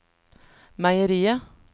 meieriet